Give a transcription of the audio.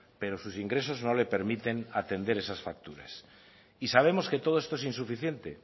pero sus ingresos no le permiten atender esas facturas y sabemos que todo es insuficiente